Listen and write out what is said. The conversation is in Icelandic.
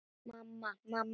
Mamma, mamma.